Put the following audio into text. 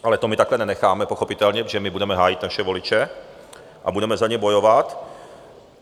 Ale to my takhle nenecháme pochopitelně, protože my budeme hájit naše voliče a budeme za ně bojovat.